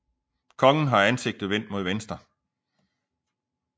Kongen har ansigtet vendt mod venstre